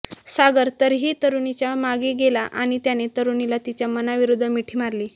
सागर तरीही तरूणीच्या मागे गेला आणि त्याने तरूणीला तिच्या मनाविरूद्ध मिठी मारली